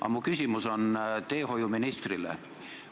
Aga mu küsimus on teehoiuministrile.